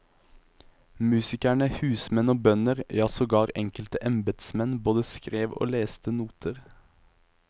Musikerne, husmenn og bønder, ja sogar enkelte embedsmenn, både skrev og leste noter.